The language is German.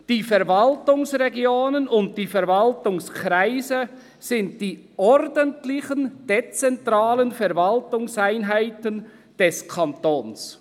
«Die Verwaltungsregionen und Verwaltungskreise sind die ordentlichen Verwaltungseinheiten des Kantons.